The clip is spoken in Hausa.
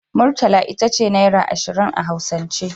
Murtala itace naira ashirin a hausance